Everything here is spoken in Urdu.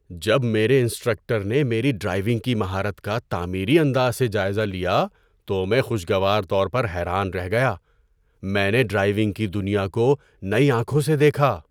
جب میرے انسٹرکٹر نے میری ڈرائیونگ کی مہارت کا تعمیری انداز سے جائزہ لیا تو میں خوشگوار طور پر حیران رہ گیا۔ میں نے ڈرائیونگ کی دنیا کو نئی آنکھوں سے دیکھا۔